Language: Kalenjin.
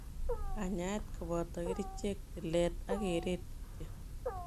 Kanyaaet kopotoo kerichek, tileet ak kereet kityo